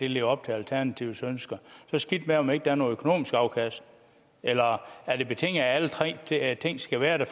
lever op til alternativets ønsker så skidt med om der ikke er noget økonomisk afkast eller er det betinget af at alle tre ting skal være der